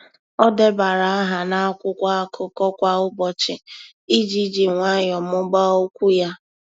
Ọ́ débara áhà n’ákwụ́kwọ́ ákụ́kọ́ kwa ụ́bọ̀chị̀ iji jì nwayọ́ọ́ mụ́ba okwu ya.